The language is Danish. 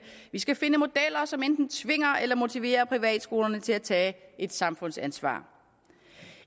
vi skal finde modeller som enten tvinger eller motiverer privatskolerne til at tage et samfundsansvar